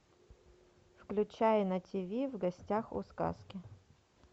включай на тиви в гостях у сказки